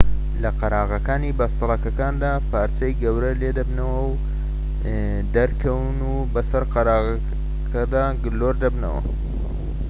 لە قەراغەکانی بەستەڵەکەکاندا پارچەی گەورە لێ دەبنەوە و دەکەون و بەسەر قەراغەکەدا گلۆر دەبنەوە